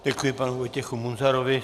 Děkuji panu Vojtěchu Munzarovi.